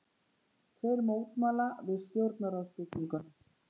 Tveir mótmæla við stjórnarráðsbygginguna